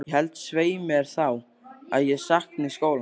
Ég held, svei mér þá, að ég sakni skólans.